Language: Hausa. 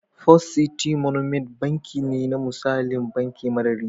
First City Monument Banki misali ne na banki mara riba.